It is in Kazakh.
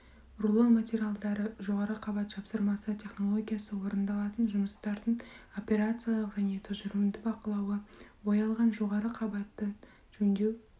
рулон материалдарымен жоғары қабат жапсырмасы технологиясы орындалатын жұмыстардың операциялық және тұжырымды бақылауы боялған жоғары қабатын жөндеу